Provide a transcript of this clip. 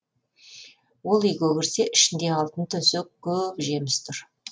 ол үйге кірсе ішінде алтын төсек көп жеміс тұр